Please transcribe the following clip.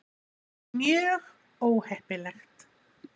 Mjög óheppilegt.